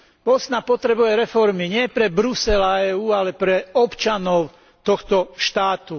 Bosna potrebuje reformy, nie pre Brusel a EÚ, ale pre občanov tohto štátu.